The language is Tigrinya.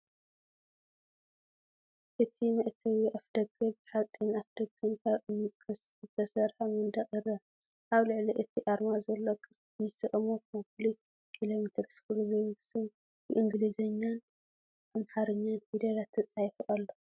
እቲ መእተዊ ኣፍደገ፡ ብሓጺን ፣ ኣፍደገን ካብ እምንን ጭቃን ዝተሰርሐ መንደቕን ይርአ። ኣብ ልዕሊ እቲ ኣርማ ዘሎ ቅስት፡ "GCHOMO COMPLETE ELEMENTARY SCHOOL" ዝብል ስም ብእንግሊዝኛን ኣምሓርኛን ፊደላት ተጻሒፉ ኣሎ።